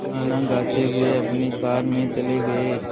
गाना गाते हुए अपनी कार में चले गए